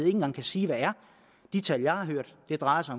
en gang kan sige hvad er de tal jeg har hørt drejer sig